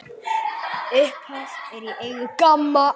Upphaf er í eigu GAMMA.